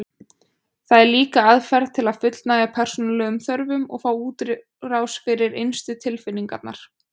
Það er líka aðferð til að fullnægja persónulegum þörfum og fá útrás fyrir innstu tilfinningar.